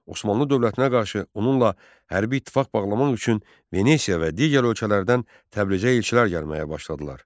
Osmanlı dövlətinə qarşı onunla hərbi ittifaq bağlamaq üçün Venesiya və digər ölkələrdən Təbrizə elçilər gəlməyə başladılar.